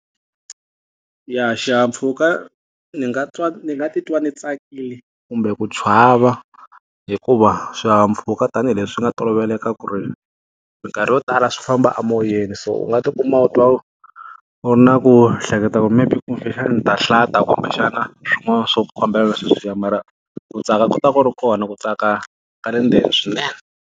Ya xihahampfhuka, ndzi nga twa ndzi nga titwa ndzi tsakile kumbe ku chava hikuva swihahampfhuka tanihileswi nga toloveleka ku ri, minkarhi yo tala swi famba amoyeni. So u nga ti kuma u twa u u ri na ku hleketa ku maybe kumbexani ndzi ta hlanta kumbexana swin'wana swa ku fambelana na sweswiya,. Mara ku tsaka ku ta va ku ri kona, ku tsaka ka le ndzeni swinene.